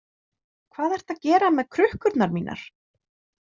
Hvað ertu að gera með krukkurnar mínar?